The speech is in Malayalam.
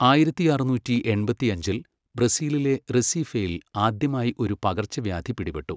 ആയിരത്തി അറുന്നൂറ്റി എൺപത്തിയഞ്ചിൽ ബ്രസീലിലെ റെസീഫെയിൽ ആദ്യമായി ഒരു പകർച്ചവ്യാധി പിടിപെട്ടു.